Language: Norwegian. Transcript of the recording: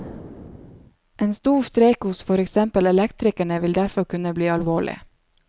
En stor streik hos for eksempel elektrikerne, vil derfor kunne bli alvorlig.